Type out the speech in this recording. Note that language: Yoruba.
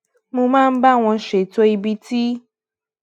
mo máa ń bá wọn ṣètò ibi tí